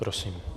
Prosím.